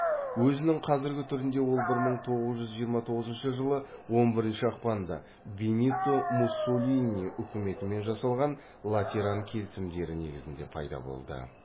өзінің қазіргі түрінде ол бір мың тоғыз жүз жиырма тоғызыншы жылы он бірінші ақпанда бенито муссолини үкіметімен жасалған латеран келісімдері негізінде пайда болды